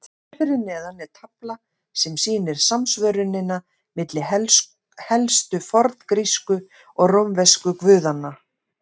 Hér fyrir neðan er tafla sem sýnir samsvörunina milli helstu forngrísku og rómversku guðanna.